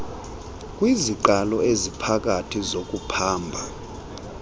kwiziqalo eziphakathi zokuphamba